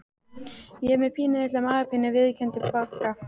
Ég er með pínulitla magapínu viðurkenndi Bogga.